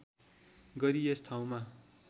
गरी यस ठाउँमा